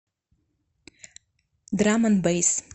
драм энд бэйс